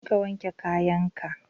Je ka wanke kayan ka!